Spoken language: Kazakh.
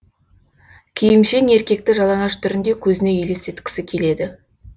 киімшең еркекті жалаңаш түрінде көзіне елестеткісі келеді